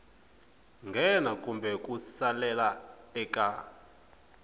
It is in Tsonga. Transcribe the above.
nghena kumbe ku salela eka